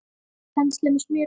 Penslið með smjöri.